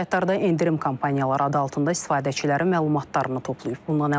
Bu saytlarda endirim kampaniyaları adı altında istifadəçilərin məlumatlarını toplayıb.